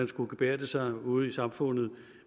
skulle gebærde sig ude i samfundet